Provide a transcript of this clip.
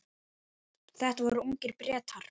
Þetta voru ungir Bretar.